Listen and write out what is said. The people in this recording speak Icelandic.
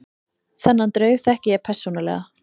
Þennan draug þekki ég persónulega.